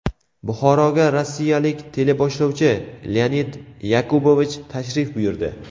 Buxoroga rossiyalik teleboshlovchi Leonid Yakubovich tashrif buyurdi.